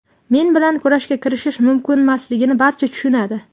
Men bilan kurashga kirishish mumkinmasligini barcha tushunadi.